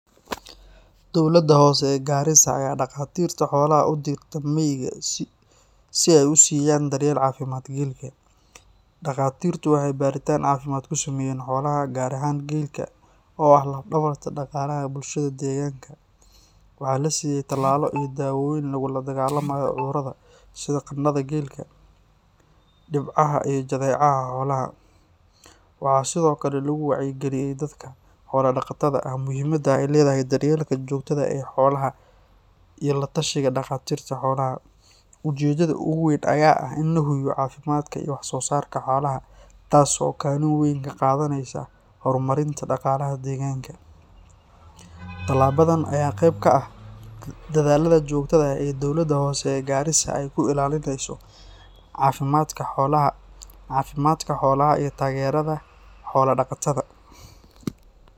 Dowladda Hoose ee Gariisa ayaa dhaqaatiirta xoolaha u dirtay miyiga si ay u siiyaan daryeel caafimaad geelka. Dhaqaatiirtu waxay baaritaan caafimaad ku sameeyeen xoolaha, gaar ahaan geelka oo ah laf dhabarta dhaqaalaha bulshada deegaanka. Waxaa la siiyay tallaalo iyo daawooyin lagula dagaalamayo cudurrada sida qandhada geelka, dhibcaha iyo jadeecada xoolaha. Waxaa sidoo kale lagu wacyigeliyay dadka xoola-dhaqatada ah muhiimadda ay leedahay daryeelka joogtada ah ee xoolaha iyo la-tashiga dhaqaatiirta xoolaha. Ujeeddada ugu weyn ayaa ah in la hubiyo caafimaadka iyo wax-soosaarka xoolaha, taas oo kaalin weyn ka qaadaneysa horumarinta dhaqaalaha deegaanka. Tallaabadan ayaa qeyb ka ah dadaallada joogtada ah ee Dowladda Hoose ee Gariisa ay ku ilaalinayso caafimaadka xoolaha iyo taageerada xoola-dhaqatada.